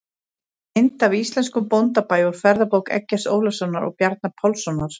Mynd af íslenskum bóndabæ úr ferðabók Eggerts Ólafssonar og Bjarna Pálssonar.